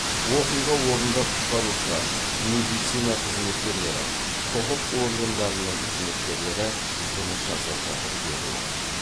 оқиға орнында құтқарушылар медицина қызметкерлері құқық органдарының қызметкерлері жұмыс жасап жатыр деді ол